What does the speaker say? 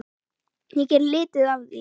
Ég geri lítið af því.